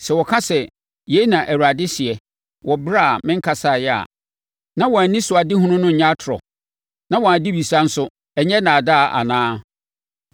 Sɛ wɔka sɛ, ‘Yei na Awurade seɛ’, wɔ ɛberɛ a menkasaeɛ a, na wɔn anisoadehunu nnyɛ atorɔ? Na wɔn adebisa nso, ɛnnyɛ nnaadaa anaa?